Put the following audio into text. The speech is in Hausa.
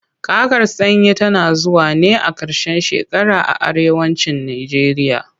Kakar sanyi tana zuwa ne a ƙarshen shekara a arewa cin najeriya.